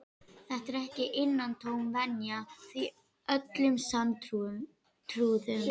Þetta er ekki innantóm venja, því öllum sanntrúuðum